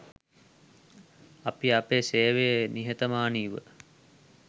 අපි අපේ සේවය නිහතමානීව